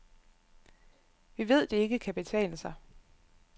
Vi ved, det ikke kan betale sig.